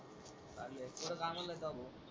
चालू आहे तेवढं .